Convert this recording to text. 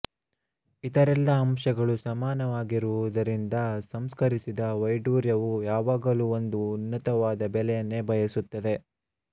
ಇತರೆಲ್ಲಾ ಅಂಶಗಳು ಸಮಾನವಾಗಿರುವುದರಿಂದ ಸಂಸ್ಕರಿಸದ ವೈಡೂರ್ಯವು ಯಾವಾಗಲೂ ಒಂದು ಉನ್ನತವಾದ ಬೆಲೆಯನ್ನೇ ಬಯಸುತ್ತದೆ